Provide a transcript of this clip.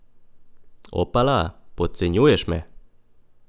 Opala, podcenjuješ me!